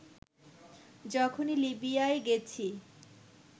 যখনই লিবিয়ায় গেছি